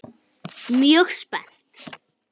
Mjög spennt.